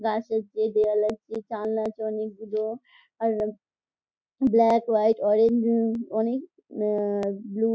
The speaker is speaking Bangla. গাছ আছে দেওয়াল আছে জানলা আছে অনেকগুলো | আর ব্ল্যাক হোয়াইট অরেঞ্জ উম অনেক আ ব্লু --